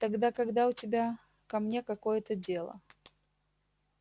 тогда когда у тебя ко мне какое-то дело